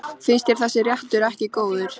Finnst þér þessi réttur ekki góður?